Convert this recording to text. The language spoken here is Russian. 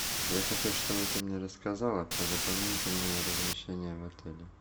я хочу чтобы ты мне рассказала про дополнительное размещение в отеле